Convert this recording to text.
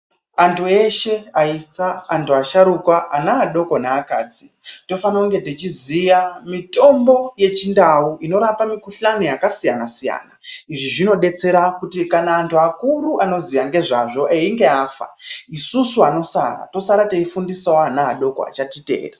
Antu eshe aisa, antu asharukwa ana adoko naakadzi tofana kunge tichiziya mitombo yeChiNdau inorapa mikuhlani yakasiyana siyana. Izvi zvinodetsera kuti kana antu akuru anoziya ngezvazvo einga afa, isusu vanosara tosarawo teifundisawo ana adoko anotiteera.